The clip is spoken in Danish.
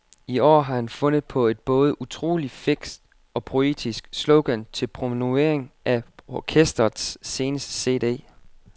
I år har han fundet på et både utrolig fikst og poetisk slogan til promovering af orkestrets seneste cd.